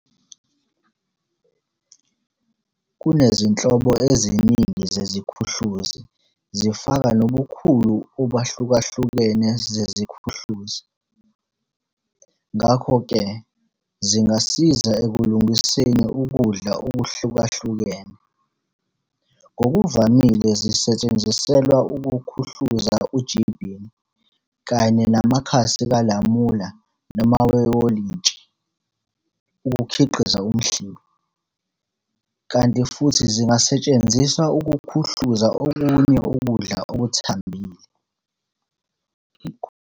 kunezinhlobo ezining zeziKhuhluzi zifaka nobukhulu obahlukahlukene zeziKhuhluzi, ngakho-ke zingasiza ekulungiseni ukudla okuhlukahlukene. Ngokuvamile zisetshenziselwa ukukhuhluza uJibini kanye namakhasi kaLamula noma eWolintshi, ukukhiqiza uMhlibi, kanti futhi zingasetshenziswa ukuKhuhluza okunye ukudla okuthambile.